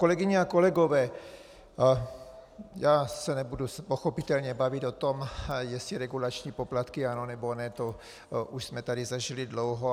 Kolegyně a kolegové, já se nebudu pochopitelně bavit o tom, jestli regulační poplatky ano, nebo ne, to už jsme tady zažili dlouho.